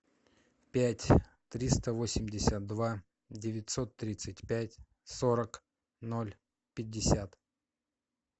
пять триста восемьдесят два девятьсот тридцать пять сорок ноль пятьдесят